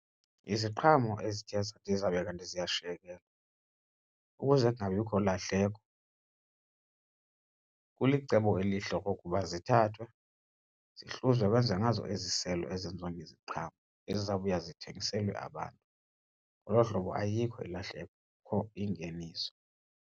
Iziqhamo ezithe zabe kanti ziyashiyekela ukuze kungabikho lahleko kulicebo elihle okokuba zithathwe zihluzwe kwenziwe ngazo iziselo ezenziwa ngeziqhamo ezizawubuya zithengiselwe abantu. Ngolo hlobo ayikho ilahleko, kukho ingeniso.